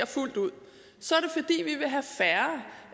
fuldt ud så